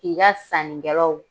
K'i ka sannikɛlaw